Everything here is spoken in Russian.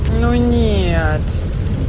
ну нет